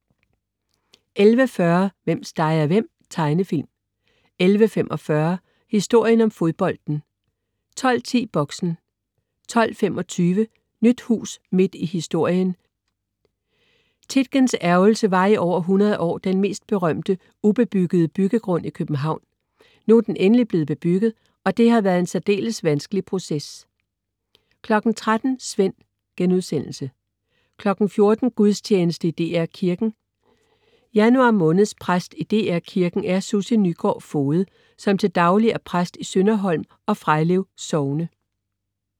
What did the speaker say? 11.40 Hvem steger hvem? Tegnefilm 11.45 Historien om fodbolden 12.10 Boxen 12.25 Nyt hus midt i historien. "Tietgens Ærgrelse" var i over 100 år den mest berømte ubebyggede byggegrund i København. Nu er den endelig blevet bebygget, og det har været en særdeles vanskelig proces 13.00 Svend* 14.00 Gudstjeneste i DR Kirken. Januar måneds præst i DR Kirken er Sussie Nygaard Foged, som til daglig er præst i Sønderholm og Frejlev sogne